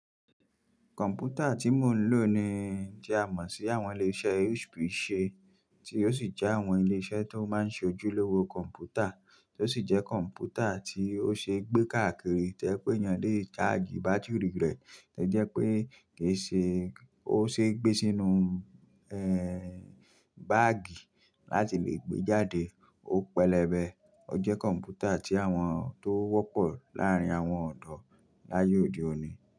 Kọ̀m̀pútà tí mò ń lò ni i tí à mọ sí àwọn ilé-iṣẹ́ HP ṣe tí ó sì jẹ́ àwọn ilé-iṣẹ́ tó máa ń ṣojúlówó kọ̀m̀pútà, tó sì jẹ́ kọ̀m̀pútà tí ó ṣe é gbé káàkiri tójẹ́ pẹ́ ènìyàn lè chájì bátìrì rẹ̀, tó jẹ́ pé kì í ṣe ó ṣe é gbé sínú, è, báàgì láti lè gbé jáde. Ó pẹlẹbẹ, ó jẹ́ kọ̀m̀pútà tí àwọn tó wọ́pọ̀ láàárín àwọn ọ̀dọ́ láyé òde òní.